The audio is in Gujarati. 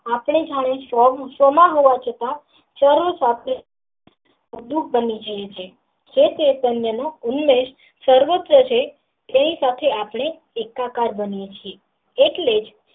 આપણે જયારે સ્ત્રવ ઉત્સવ માં હોવાછતાં ચારણ સાથે જે લોક સર્વત્ર છે તેની સાથે આપણે એકાકાર બનીયે છીએ એટલેજ.